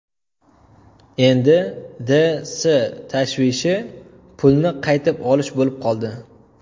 Endi D. S. tashvishi pulni qaytib olish bo‘lib qoldi.